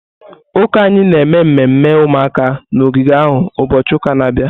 Ụka anyị na-eme mmemme ụmụaka na ogige ahụ ụbọchị ụka na-abịa.